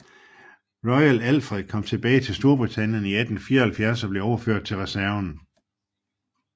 Royal Alfred kom tilbage til Storbritannien i 1874 og blev overført til reserven